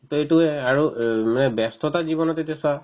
to এইটোয়ে আৰু অ উম মানে ব্যস্ততা জীৱনত এতিয়া চোৱা